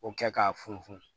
O kɛ k'a funu